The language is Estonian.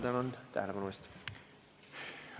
Tänan tähelepanu eest!